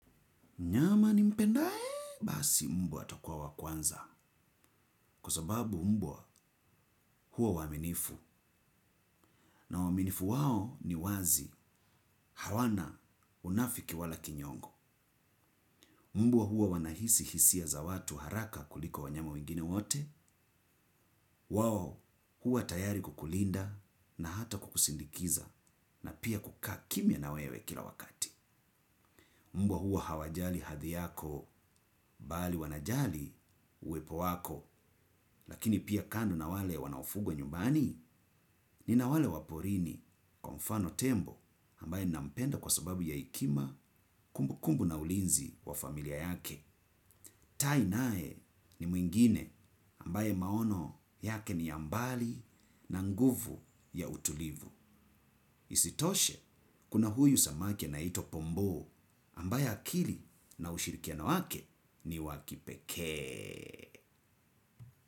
Mnyama nimpendaye, basi mbwa atakuwa wa kwanza. Kwa sababu mbwa huwa waaminifu. Na waaminifu wao ni wazi hawana unafiki wala kinyongo. Mbwa huwa wanahisi hisia za watu haraka kuliko wanyama wengine wote. Wao huwa tayari kukulinda na hata kukusindikiza na pia kukaa kimya na wewe kila wakati. Mbwa huwa hawajali hadhi yako bali wanajali uwepo wako. Lakini pia kando na wale wanaofugwa nyumbani nina wale wa porini kwa mfano tembo ambaye nampenda kwa sababu ya hekima kumbukumbu na ulinzi wa familia yake. Tai naye ni mwingine ambaye maono yake ni ya mbali na nguvu ya utulivu. Isitoshe kuna huyu samaki anaitwa pombo ambaye akili na ushirikiano wake ni wa kipekee.